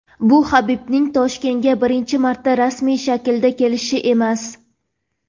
bu Habibning Toshkentga birinchi marta rasmiy shaklda kelishi emas.